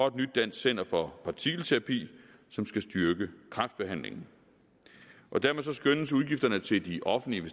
et nyt dansk center for partikelterapi som skal styrke kræftbehandlingen dermed skønnes udgifterne til de offentlige